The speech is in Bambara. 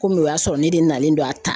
Komi o y'a sɔrɔ ne de nalen don a ta